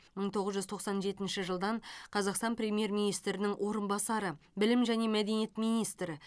мың тоғыз жүз тоқсан жетінші жылдан қазақстан премьер министрінің орынбасары білім және мәдениет министрі